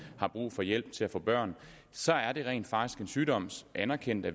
har brug for hjælp til at få børn så er det rent faktisk en sygdom anerkendt af